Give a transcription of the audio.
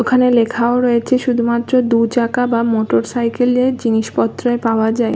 ওখানে লেখাও রয়েছে শুধুমাত্র দুচাকা বা মোটর সাইকেল -এর জিনিসপত্রে পাওয়া যায়।